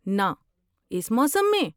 ناں، اس موسم میں؟